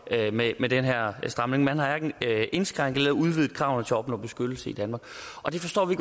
med med den her stramning man har hverken indskrænket eller udvidet kravene til at opnå beskyttelse i danmark og det forstår vi